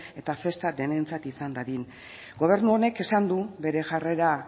eta festa denentzat izan dadin gobernu honek esan du bere jarrera